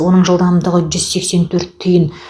оның жылдамдығы жүз сексен төрт түйін